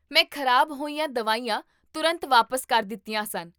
ਮੈਂ ਖ਼ਰਾਬ ਹੋਈਆਂ ਦਵਾਈਆਂ ਤੁਰੰਤ ਵਾਪਸ ਕਰ ਦਿੱਤੀਆਂ ਸਨ